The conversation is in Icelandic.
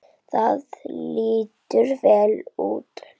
Það lítur vel út núna.